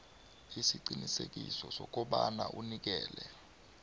isiqiniseko sokobana unikela